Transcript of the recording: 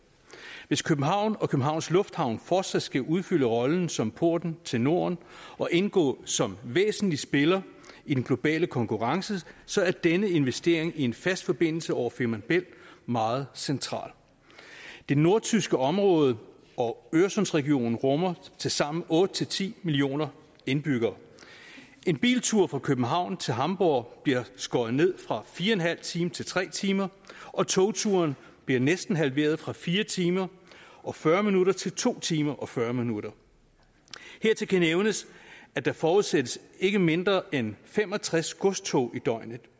hvis københavn og københavns lufthavn fortsat skal udfylde rollen som porten til norden og indgå som væsentlig spiller i den globale konkurrence så er denne investering i en fast forbindelse over femern bælt meget central det nordtyske område og øresundsregionen rummer tilsammen otte ti millioner indbyggere en biltur fra københavn til hamborg bliver skåret ned fra fire en halv time til tre timer og togturen bliver næsten halveret fra fire timer og fyrre minutter til to timer og fyrre minutter hertil kan nævnes at der forudsættes ikke mindre end fem og tres godstog i døgnet